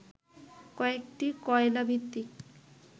কয়েকটি কয়লাভিত্তিক